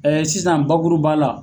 sisan bakuru b'a la